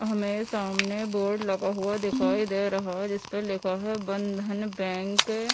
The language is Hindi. हमे सामने बोर्ड लगा हुआ दिखाई दे रहा है जिसपर लिखा है बंधन बैंक --